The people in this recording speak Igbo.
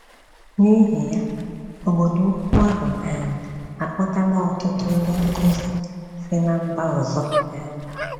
N’ihi ya, obodo ukwu ahụ um akpọtala ọtụtụ ndị nkụzi si ná mba ọzọ. um ”